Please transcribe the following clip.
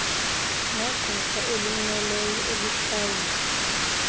negqwetha elimmeleyo elihlawulwa